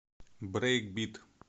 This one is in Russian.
брейкбит